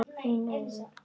Finn augun.